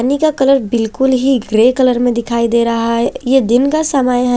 हनी का कलर बिलकुल ही ग्रे कलर में दिखाई दे रहा है ये दिन का समय है।